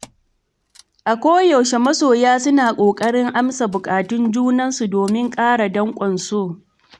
A koyaushe masoya suna ƙoƙarin amsa buƙatun junansu domin ƙara daƙwan so.